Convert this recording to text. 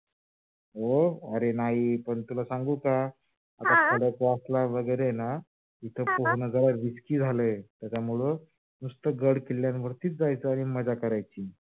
हो अरे नाही पण तुला सांगू का? हा आता खडकवासला वैगेरे आहे ना? तीथे पोहन जरा risky झालाय त्याच्यामुळ नुस्त गड किल्ल्यावर जायचं आणि मजा करायची.